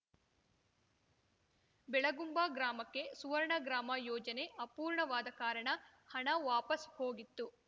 ಬೆಳಗುಂಬ ಗ್ರಾಮಕ್ಕೆ ಸುವರ್ಣ ಗ್ರಾಮ ಯೋಜನೆ ಅಪೂರ್ಣವಾದ ಕಾರಣ ಹಣ ವಾಪಸ್ ಹೋಗಿತ್ತು